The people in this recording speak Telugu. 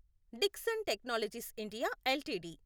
Dixon technologies India LTD